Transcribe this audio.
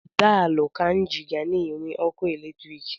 Daalụ Kainji ga na-enwe ọkụ eletrik.